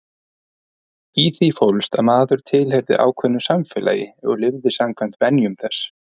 Í því fólst að maður tilheyrði ákveðnu samfélagi og lifði samkvæmt venjum þess.